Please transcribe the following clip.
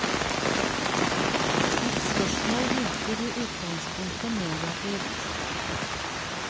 Ditt spørsmål virker i utgangspunktet negativt.